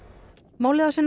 málið á sér